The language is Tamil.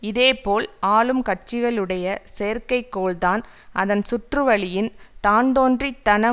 இதேபோல் ஆளும் கட்சிகளுடைய செயற்கை கோள்தான் அதன் சுற்றுவழியின் தான் தோன்றித்தன